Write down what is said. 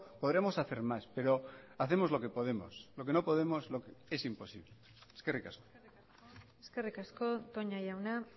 podremos hacer más pero hacemos lo que podemos lo que no podemos es imposible eskerrik asko eskerrik asko toña jauna